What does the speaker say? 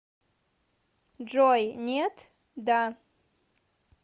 джой нет да